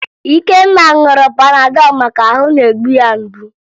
Ikenna ṅụrụ Panadọ maka na ahụ na-egbu ya mgbu